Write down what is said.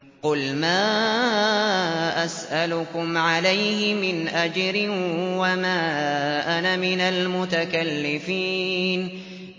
قُلْ مَا أَسْأَلُكُمْ عَلَيْهِ مِنْ أَجْرٍ وَمَا أَنَا مِنَ الْمُتَكَلِّفِينَ